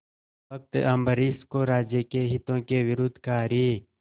भक्त अम्बरीश को राज्य के हितों के विरुद्ध कार्य